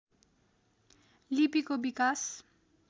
लिपिको विकास